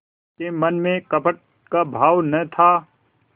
के मन में कपट का भाव न था